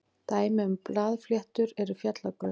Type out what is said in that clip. dæmi um blaðfléttur eru fjallagrös